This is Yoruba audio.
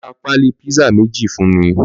Lò rà pàlí pizza méjí fún mi